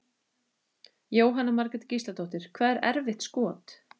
Jóhanna Margrét Gísladóttir: Hvað er erfitt skot?